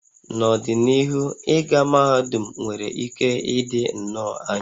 N'ọdịnihu, ịga mahadum nwere ike ịdị nnọọ anya